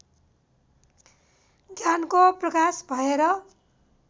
ज्ञानको प्रकाश भएर